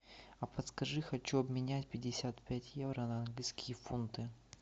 а подскажи хочу обменять пятьдесят пять евро на английские фунты